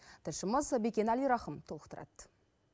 тілшіміз бекен әлирахым толықтырады